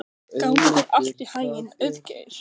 Gangi þér allt í haginn, Auðgeir.